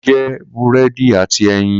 Kola jẹ búrẹ́dì àti Eyin